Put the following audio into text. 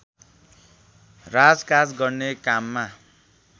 राजकाज गर्ने काममा